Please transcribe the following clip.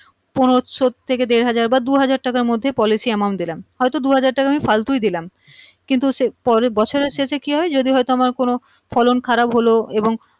পনেরোশো থেকে দেড় হাজার বা দু হাজার টাকার মধ্যে policy amount দিলাম হয় তো আমি দু হাজার টাকা ফালতুই দিলাম কিন্তু সেই পরের বছরের শেষে কি হয় যদি আমার কোনো ফলন খারাপ হলো এবং